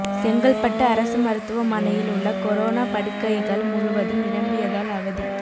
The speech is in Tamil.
செங்கல்பட்டு அரசு மருத்துவமனையில் உள்ள கொரோனா படுக்கைகள் முழுவதும் நிரம்பியதால் அவதி